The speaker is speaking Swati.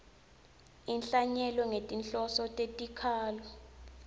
inhlanyelo ngetinhloso tetikhalo